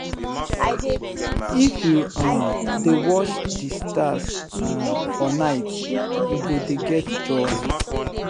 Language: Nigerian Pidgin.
if you um dey watch di stars um for night you go dey get joy.